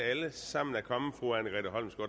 alle sammen er kommet